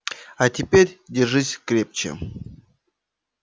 а теперь держись крепче